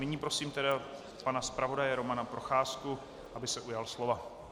Nyní prosím tedy pana zpravodaje Romana Procházku, aby se ujal slova.